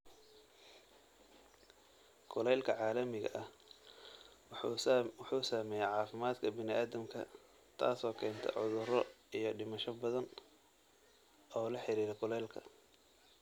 Kulaylka caalamiga ah wuxuu saameeyaa caafimaadka bini'aadamka, taasoo keenta cudurro iyo dhimasho badan oo la xiriira kulaylka.